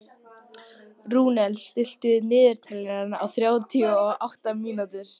Rúnel, stilltu niðurteljara á þrjátíu og átta mínútur.